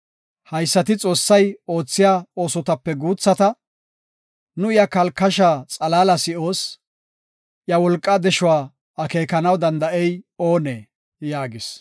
Haysati Xoossay oothiya oosotape guuthata; nu iya kalkashaa xalaala si7oos; iya wolqaa deshuwa akeekanaw danda7ey oonee?” yaagis.